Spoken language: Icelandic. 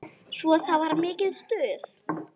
Svo það var mikið stuð.